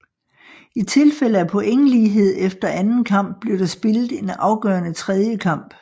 I tilfælde af pointlighed efter anden kamp blev der spillet en afgørende tredje kamp